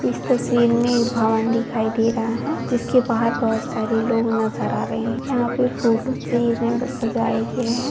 इस तस्वीर में एक भवन दिखाई दे रहा है जिसके बाहर बहुत सारे लोग नजर आ रहे हैं। यहां पे फूलों से इन्हें सजाया गया है।